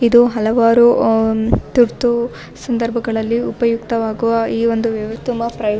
ಇದು ಹಲವಾರು ಆಹ್ಹ್ ತುರ್ತು ಸಂದರ್ಭಗಳಲ್ಲಿ ಉಪಯುಕ್ತ ಆಗುವ ಈ ಒಂದು ವ್ಯವಸ್ಥೆಯು ತುಂಬಾ ಪ್ರಯೋ --